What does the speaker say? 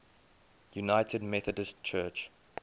united methodist church